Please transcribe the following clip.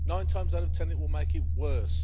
Nine times out of ten, it will make it worse.